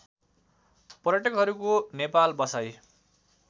पर्यटकहरूको नेपाल बसाई